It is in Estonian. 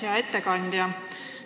Hea ettekandja!